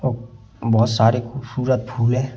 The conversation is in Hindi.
और बहुत सारे खूबसूरत फूल है।